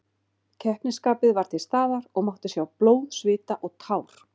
Keppnisskapið var til staðar og mátti sjá blóð, svita og tár.